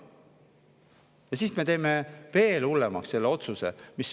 Aga siis me teeme veel hullemaks selle otsuse.